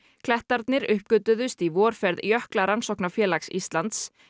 klettarnir uppgötvuðust í vorferð Jöklarannsóknafélags Íslands